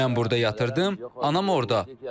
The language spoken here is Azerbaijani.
Mən burda yatırdım, anam orda.